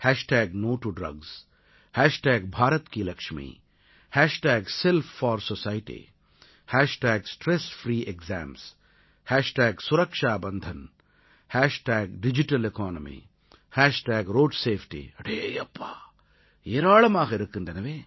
hashtag no to drugs hashtag Bharat ki Laxmi hashtag Self4Society hashtag stress free exams hashtag Suraksha Bandhan hashtag digital economy hashtag road safety அடேயப்பா ஏராளமாக இருக்கின்றன